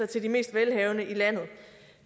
til de mest velhavende i landet